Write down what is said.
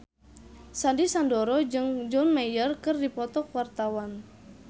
Sandy Sandoro jeung John Mayer keur dipoto ku wartawan